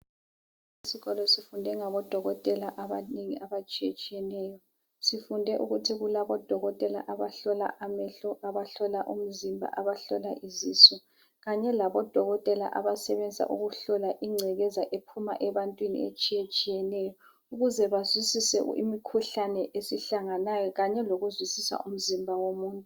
Esikolo sifunde ngabodokotela abanengi abatshiyetshiyeneyo. Sifunde ukuthi kulabodokotela abahlola amehlo, abahlola umzimba, abahlola izisu kanye labodokotela abasebenza ukuhlola ingcekeza ephuma ebantwini etshiyetshiyeneyo ukuze bazwisise imikhuhlane esihlanganayo kanye lokuzwisisa umzimba womuntu.